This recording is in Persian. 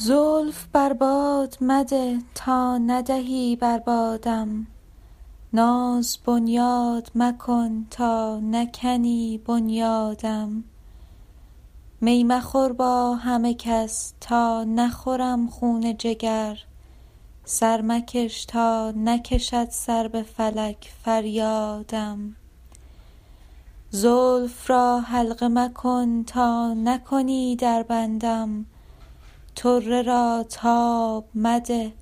زلف بر باد مده تا ندهی بر بادم ناز بنیاد مکن تا نکنی بنیادم می مخور با همه کس تا نخورم خون جگر سر مکش تا نکشد سر به فلک فریادم زلف را حلقه مکن تا نکنی در بندم طره را تاب مده